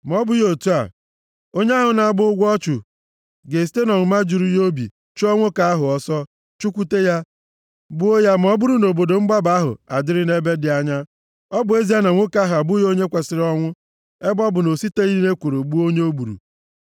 Ma ọ bụghị otu a, onye ahụ na-agba ụgwọ ọchụ ga-esite nʼọnụma juru ya obi chụọ nwoke ahụ ọsọ, chụkwute ya, gbuo ya ma ọ bụrụ na obodo mgbaba ahụ adịrị nʼebe dị anya, ọ bụ ezie na nwoke ahụ abụghị onye kwesiri ọnwụ, ebe ọ bụ na o siteghị nʼekworo gbuo onye o gburu.